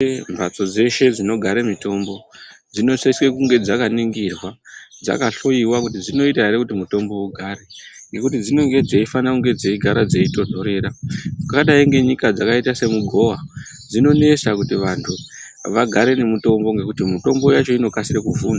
Eee mhatso dzeshe dzinogare mutombo dzinosise kunge dzakaningirwa dzakahloiwa kuti dzinoita ere kuti mutombo ugare ngekuti dzinenge dzeifana kunge dzeigara dzeitonhorera ungadai ngenyika dzakaita semugowa dzinonesa kuti vantu vagare nemitombo ngekuti mitombo yacho inokasire kufu.